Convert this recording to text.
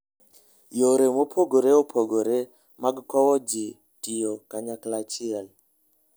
Yore mopogore opogore mag kowo ji tiyo kanyachiel.